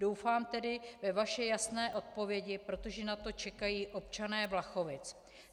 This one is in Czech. Doufám tedy ve vaše jasné odpovědi, protože na to čekají občané Vlachovic.